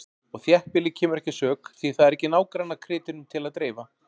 Og þéttbýlið kemur ekki að sök, því það er ekki nágrannakrytinum til að dreifa.